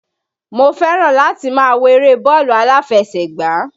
Mo fẹ́ràn láti máa wo eré bọ́ọ̀lù aláfẹsẹ̀gbá